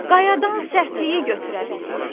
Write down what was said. Qayadan sərtliyi götürə bildi.